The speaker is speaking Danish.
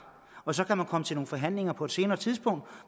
og så kan man komme til nogle forhandlinger på et senere tidspunkt